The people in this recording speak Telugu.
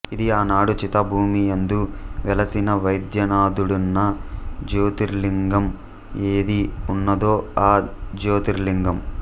ఇది ఆనాడు చితాభూమియందు వెలసిన వైద్యనాథుడన్న జ్యోతిర్లింగం ఏది ఉన్నదో ఆ జ్యోతిర్లింగం